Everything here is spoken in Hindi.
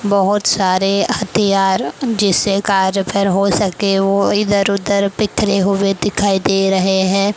बहुत सारे हथियार जिससे कार रिपेयर हो सके वो इधर उधर बिखरे हुए दिखाई दे रहे है ।